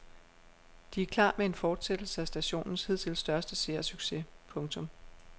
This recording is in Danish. De er klar med en fortsættelse af stationens hidtil største seersucces. punktum